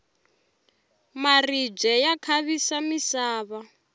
maribye ya khavisa misava